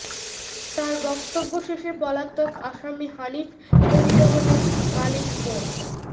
তার বক্তব্য শেষে পলাতক আসামি হানিফ পরিবহনের মালিক মো